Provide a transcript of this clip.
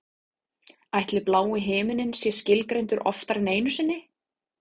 Ætli blái himininn sé skilgreindur oftar en einu sinni?